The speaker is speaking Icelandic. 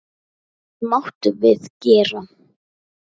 Allt máttum við gera.